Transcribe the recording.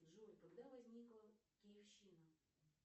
джой когда возникла киевщина